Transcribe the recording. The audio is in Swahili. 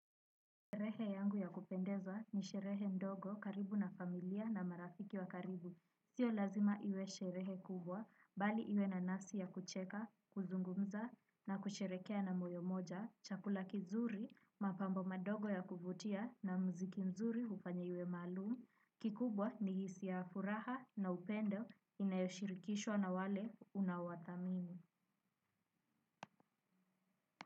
Sherehe yangu ya kupendeza ni sherehe ndogo karibu na familia na marafiki wa karibu. Sio lazima iwe sherehe kubwa, bali iwe na nafsi ya kucheka, kuzungumza na kusherekea na moyo moja, chakula kizuri, mapambo madogo ya kuvutia na mziki mzuri hufanya iwe maalum. Kikubwa ni hisia ya furaha na upendo inayoshirikishwa na wale unaowathamini.